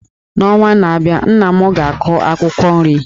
N’ọnwa na-abịa abịa, nna m ga-akụ akwụkwọ nri.